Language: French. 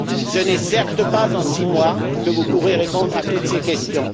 Ce n'est certes pas en six mois que vous pourrez répondre à toutes ces questions.